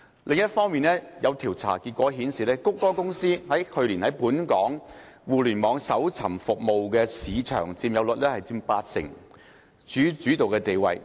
另一方面，有調查結果顯示，谷歌公司去年在本港互聯網搜尋服務的市佔率近八成，處主導地位。